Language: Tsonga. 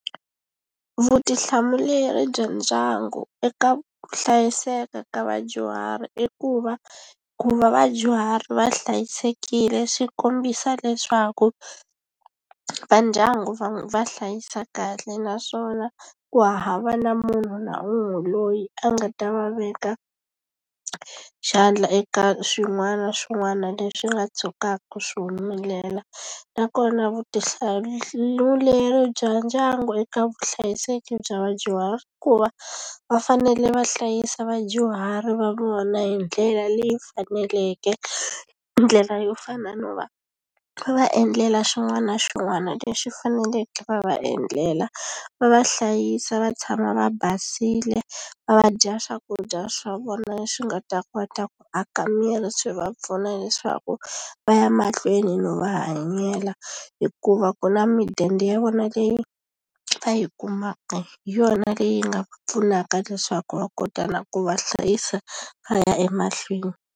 Vutihlamuleri bya ndyangu eka ku hlayiseka ka vadyuhari i ku va ku va vadyuhari va hlayisekile swi kombisa leswaku va va ndyangu va hlayisa kahle naswona ku hava na munhu na un'we loyi a nga ta va veka xandla eka swin'wana na swin'wana leswi nga tshukaka swi humelela nakona vutihlamuleri bya ndyangu eka vuhlayiseki bya vadyuhari i ku va va fanele va hlayisa vadyuhari va vona hi ndlela leyi faneleke ndlela yo fana no va va endlela swin'wana na swin'wana leswi faneleke va va endlela va va hlayisa va tshama va basile va dya swakudya swa vona leswi nga ta kota ku aka miri swi va pfuna leswaku va ya mahlweni no va hanyela hikuva ku na mudende ya vona leyi va yi kumaka hi yona leyi nga pfunaka leswaku va kota na ku va hlayisa va ya emahlweni.